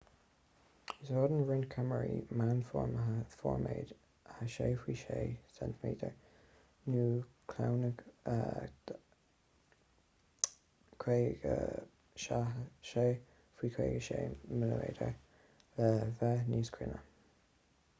úsáideann roinnt ceamaraí meánfhormáide formáid 6 faoi 6 cm nó claonchló 56 faoi 56 mm le bheith níos cruinne